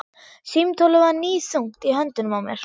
Símtólið var níðþungt í höndunum á mér.